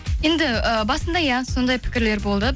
енді і басында иә сондай пікірлер болды